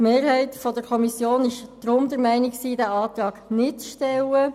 Deshalb will die Kommissionsmehrheit diesen Antrag nicht stellen.